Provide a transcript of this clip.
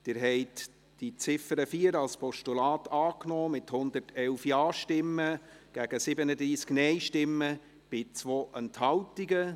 Sie haben die Ziffer 4 als Postulat angenommen, mit 111 Ja- zu 37 Nein-Stimmen bei 2 Enthaltungen.